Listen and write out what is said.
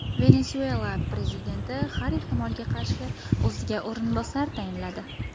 Venesuela prezidenti har ehtimolga qarshi o‘ziga o‘rinbosar tayinladi.